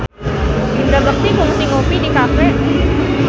Indra Bekti kungsi ngopi di cafe